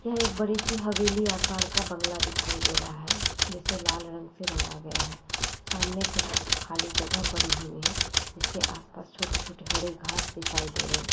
यह एक बड़ी सी हवेली आकार का बंगला दिखाई दे रहा है जिसे लाल रंग से रंगा गया है सामने कुछ खाली जगह पड़ी हुई है जिसके आस-पास छोटी-छोटी हरी घास दिखाई दे रहे है।